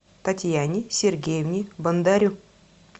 татьяне сергеевне бондарю